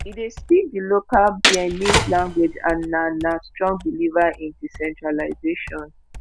e dey speak di local bearnese language and na na strong believer in decentralisation